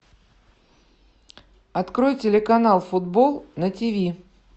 открой телеканал футбол на тв